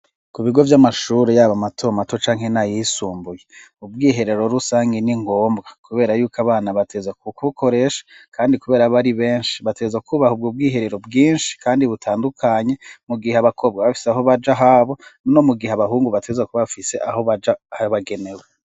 Ku bigo vy'amashuri yabo mato matoca nk'ena yisumbuye ubwiherero rusange ningombwa kubera yuko abana bateza kkbukoreshi kandi kubera bari benshi bateza kubaha ubwa ubwiherero bwinshi kandi butandukanye mu gihe abakobwa bafise aho baja habo no mu gihe abahungu bateza kuba bafise aho baja bagenewe.